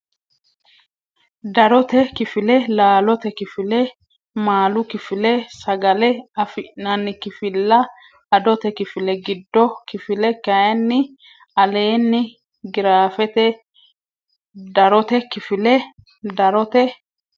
Darote kifile Laalote kifile Maalu kifile Sagale afi nanni kifilla Adote kifile Gidu kifile kayinni aleenni giraafete Darote kifile Darote.